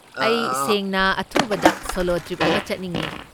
ꯑꯩ ꯁꯦꯡꯅ ꯑꯊꯨꯕꯗ ꯁꯣꯂꯣ ꯇ꯭ꯔꯤꯞ ꯑꯃ ꯆꯠꯅꯤꯡꯉꯦ꯫